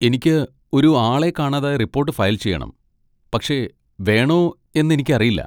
എനിക്ക് ഒരു ആളെ കാണാതായ റിപ്പോട്ട് ഫയൽ ചെയ്യണം, പക്ഷേ വേണോ എന്ന് എനിക്കറിയില്ല.